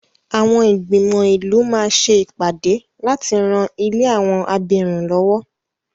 Àwọn ìgbìmò ìlú máa ṣe ìpàdé láti rán ilé àwọn abirùn lọ́wọ́.